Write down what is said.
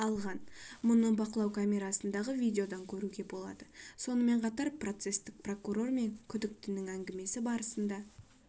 алған мұны бақылау камерасындағы видеодан көруге болады сонымен қатар процестік прокурор мен күдіктінің әңгімесі барсында